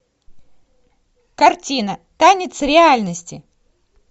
картина танец реальности